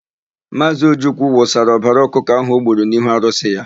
Maazị Ojukwu wụsara ọbara ọkụkọ ahụ o gburu n'ihu arụsị ya.